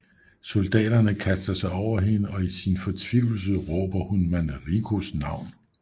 Soldaterne kaster sig over hende og i sin fortvivlelse råber hun Manricos navn